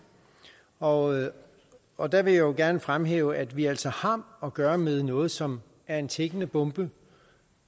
og og der vil jeg jo gerne fremhæve at vi altså har at gøre med noget som er en tikkende bombe